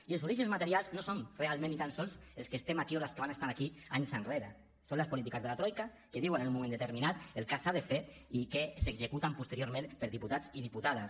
i els orígens materials no som realment ni tan sols els que estem aquí o les que van estar aquí anys enrere són les polítiques de la troica que diuen en un moment determinat el que s’ha de fer i que s’executa posteriorment per diputats i diputades